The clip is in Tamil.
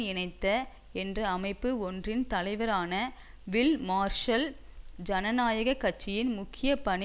இணைந்த என்ற அமைப்பு ஒன்றின் தலைவரான வில் மார்ஷல் ஜனநாயக கட்சியின் முக்கிய பணி